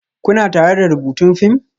Kuna tare da rubutun fim?